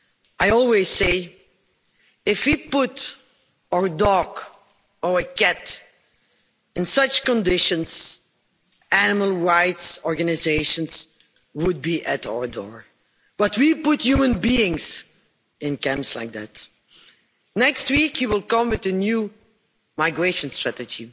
I always say, if we put our dog or our cat in such conditions, animal rights organisations would be at our door, but we put human beings in camps like that. Next week, you will come with a new migration strategy.